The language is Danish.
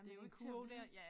Det jo ikke til at vide